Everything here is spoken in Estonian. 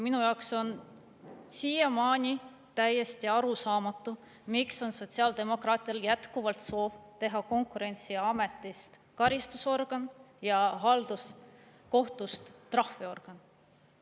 Minu jaoks on siiamaani täiesti arusaamatu, miks on sotsiaaldemokraatidel jätkuvalt soov teha Konkurentsiametist karistusorgan ja halduskohtust trahviorgan.